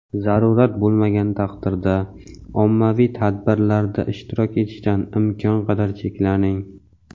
zarurat bo‘lmagan taqdirda ommaviy tadbirlarda ishtirok etishdan imkon qadar cheklaning!.